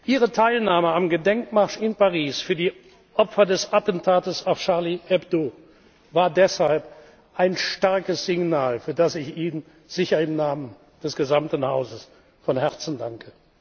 Ihre Teilnahme am Gedenkmarsch in Paris für die Opfer des Attentats auf Charlie Hebdo war deshalb ein starkes Signal, für das ich Ihnen sicher im Namen des gesamten Hauses von Herzen danke.